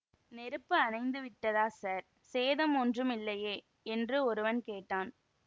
நெருப்பு அணைந்துவிட்டதா ஸார் சேதம் ஒன்றும் இல்லையே என்று ஒருவன் கேட்டான்